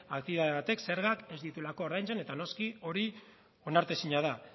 aktibitate batek zergak ez dituelako ordaintzen eta noski hori onartezina da